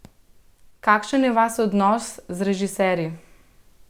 Kakšen je vaš odnos z režiserji?